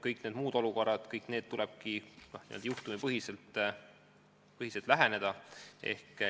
Kõik need muud olukorrad – kõigile neile tulebki n-ö juhtumipõhiselt läheneda.